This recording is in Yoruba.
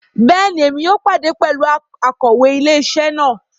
Bẹẹni, Èmí yóò pàdé pẹlú Akòwé ilé-isé náà